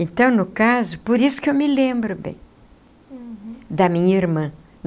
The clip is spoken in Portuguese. Então, no caso, por isso que eu me lembro bem. Uhum. Da minha irmã.